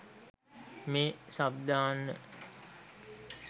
මේ සබ්දාන්න.